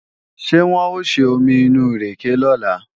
Ṣé wọ́n ó ṣe omi inú ìrèkè lọ́la?